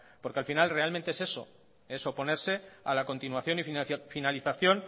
porque al final realmente es eso es oponerse a la continuación y finalización